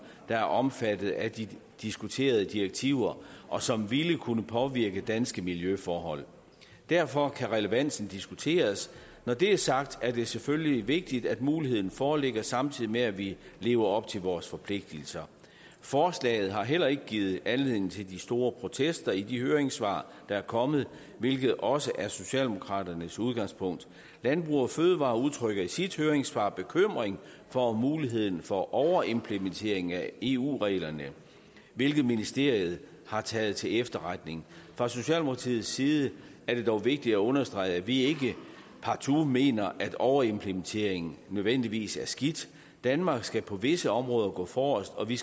der er omfattet af de diskuterede direktiver og som ville kunne påvirke danske miljøforhold derfor kan relevansen diskuteres når det er sagt er det selvfølgelig vigtigt at muligheden foreligger samtidig med at vi lever op til vores forpligtelser forslaget har heller ikke givet anledning til de store protester i de høringssvar der er kommet hvilket også er socialdemokraternes udgangspunkt landbrug fødevarer udtrykker i sit høringssvar bekymring for muligheden for overimplementering af eu reglerne hvilket ministeriet har taget til efterretning fra socialdemokratiets side er det dog vigtigt at understrege at vi ikke partout mener at overimplementeringen nødvendigvis er skidt danmark skal på visse områder gå forrest og vi